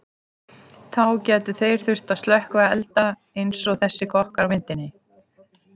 Þá gætu þeir þurft að slökkva elda eins og þessir kokkar á myndinni.